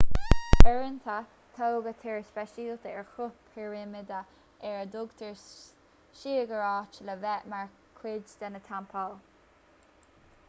uaireanta tógadh túir speisialta ar chruth pirimide ar a dtugtar siogúráit le bheith mar chuid de na teampaill